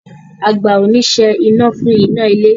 A gba oníṣẹ́ iná fún iná a ilé